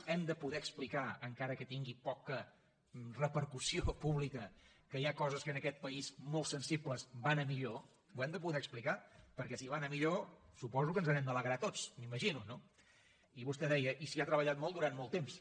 hem de poder explicar encara que tingui poca repercussió pública que hi ha coses que en aquest país molt sensibles van a millor ho hem de poder explicar perquè si van a millor suposo que ens n’hem d’alegrar tots m’imagino no i vostè deia i s’hi ha treballat molt durant molt temps